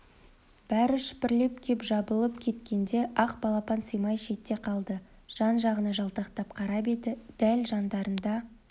бәрі шүпірлеп кеп жабыла кеткенде ақ балапан сыймай шетте қалды жан-жағына жалтақтап қарап еді дәл жандарында